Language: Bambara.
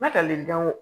Ma ka le dan o